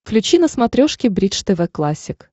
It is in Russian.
включи на смотрешке бридж тв классик